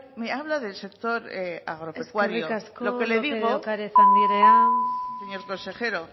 me habla del sector agropecuario eskerrik asko lópez de ocariz andrea señor consejero